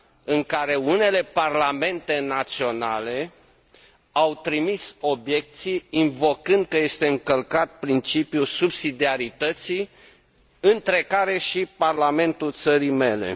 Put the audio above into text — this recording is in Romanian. în care unele parlamente naționale au trimis obiecții invocând că este încălcat principiul subsidiarității, între care și parlamentul țării mele.